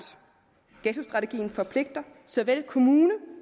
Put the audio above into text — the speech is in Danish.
ghettostrategien forpligter såvel kommuner